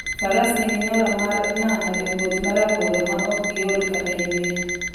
Faras nigi nyalo mar nano e wuoth ma rabora maok giol kata yueyo.